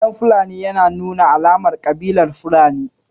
Salon fulani yana nuna alamar kabilar Fulani